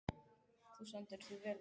Þú stendur þig vel, Ósvífur!